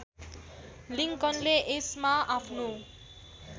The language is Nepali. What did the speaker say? लिङ्कनले यसमा आफ्नो